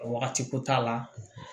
Wagati ko t'a la